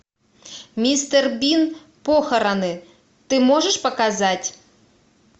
мистер бин похороны ты можешь показать